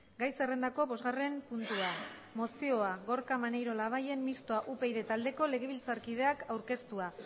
gai zerrendako bosgarren puntua mozioa gorka maneiro labayen mistoa upyd taldeko legebiltzarkideak aurkeztua